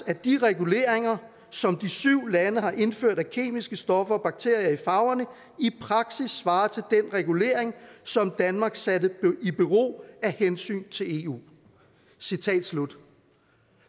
at de reguleringer som de syv lande har indført af kemiske stoffer og bakterier i farverne i praksis svarer til den regulering som danmark satte i bero af hensyn til eu citat slut